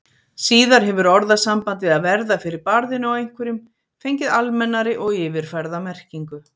Síðar hefur orðasambandið að verða fyrir barðinu á einhverjum fengið almennari og yfirfærða merkingu.